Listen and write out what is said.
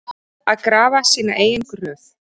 Að grafa sína eigin gröf